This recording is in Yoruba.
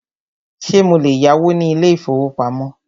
Ṣé mo lè yáwó ní ilé ìfọwọ́pamo?